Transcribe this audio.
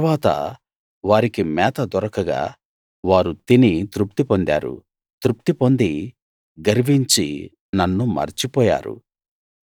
తరువాత వారికి మేత దొరకగా వారు తిని తృప్తి పొందారు తృప్తి పొంది గర్వించి నన్ను మర్చి పోయారు